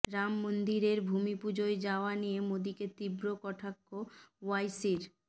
রাম মন্দিরের ভূমিপূজোয় যাওয়া নিয়ে মোদিকে তীব্র কটাক্ষ ওয়াইসির